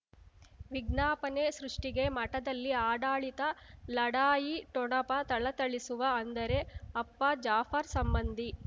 ವಿಜ್ಞಾಪನೆ ಸೃಷ್ಟಿಗೆ ಮಠದಲ್ಲಿ ಆಡಳಿತ ಲಢಾಯಿ ಠೊಣಪ ಥಳಥಳಿಸುವ ಅಂದರೆ ಅಪ್ಪ ಜಾಫರ್ ಸಂಬಂಧಿ